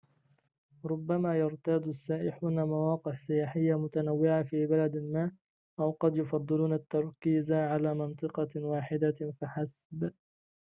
ربما يرتاد السائحون مواقع سياحية متنوعة في بلد ما أو قد يفضلون التركيز على منطقة واحدة فحسب